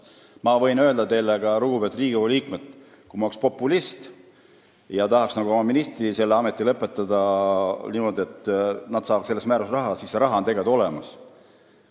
Ma võin öelda teile, lugupeetud Riigikogu liikmed, ka seda, et kui ma oleks populist ja tahaks oma ministriametis oleku lõpetada niimoodi, et nad saavad selle raha, siis see on tegelikult olemas.